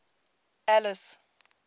alice